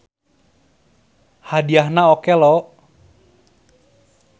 Hadiahna oke lho.